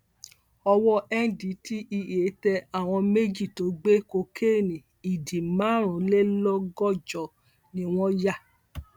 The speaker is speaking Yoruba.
owó ndtea tẹ àwọn méjì tó gbé kokéènì ìdí márùnlélọgọjọ ni wọn yá